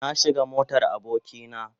Na shiga motar aboki na.